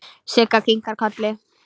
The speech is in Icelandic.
Siggi kinkaði kolli.